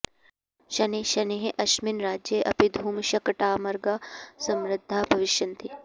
शनैः शनैः अस्मिन् राज्ये अपि धूमशकटमार्गाः समृद्धाः भविष्यन्ति